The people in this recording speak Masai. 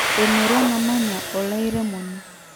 emurrua namanya olairemoni